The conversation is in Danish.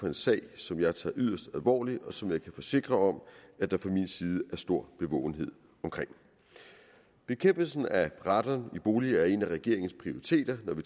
en sag som jeg tager yderst alvorligt og som jeg kan forsikre om at der fra min side er stor bevågenhed omkring bekæmpelsen af radon i boliger er en af regeringens prioriteter når vi